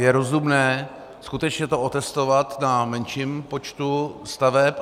Je rozumné skutečně to otestovat na menším počtu staveb.